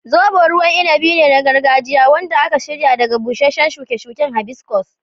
Zobo ruwan inabi ne na gargajiya wanda aka shirya daga busasshen shuke-shuke hibiscus.